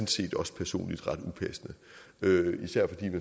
set også personligt ret upassende især fordi